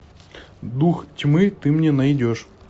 дух тьмы ты мне найдешь